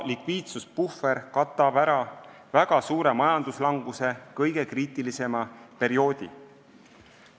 Likviidsuspuhver katab ära väga suure majanduslanguse kõige kriitilisema perioodi.